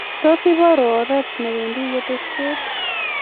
tos ibarwo oret ne wendi keteshet